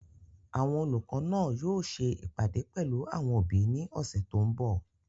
Àwọn olùkọ́ náà yóò ṣe ìpàdé pẹ̀lú àwọn òbí ní ọ̀sẹ̀ tó n bọ̀